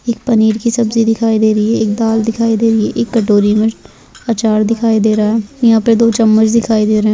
एक पनीर की सब्जी दिखाई दे रही है एक दाल दिखाई दे रही है एक कटोरी मे आचार दिखाई दे रहा है यहाँ पे दो चम्मच दिखाई दे रहे है।